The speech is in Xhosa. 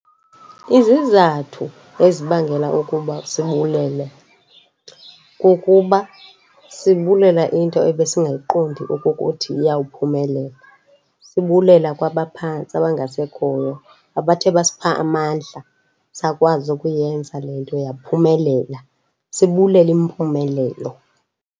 Izizathu ezibangela ukuba sibulele kukuba sibulela into ebesingayiqondi okukuthi iyawuphumelela. Sibulela kwabaphantsi abangasekhoyo abathe basipha amandla, sakwazi ukuyenza le nto yaphumelela, sibulela impumelelo.